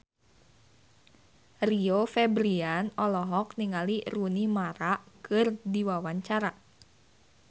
Rio Febrian olohok ningali Rooney Mara keur diwawancara